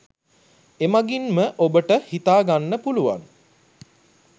එමගින්ම ඔබට හිතා ගන්න පුළුවන්